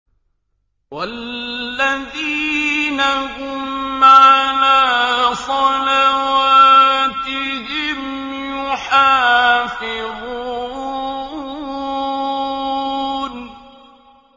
وَالَّذِينَ هُمْ عَلَىٰ صَلَوَاتِهِمْ يُحَافِظُونَ